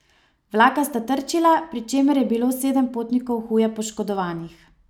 Vlaka sta trčila, pri čemer je bilo sedem potnikov huje poškodovanih.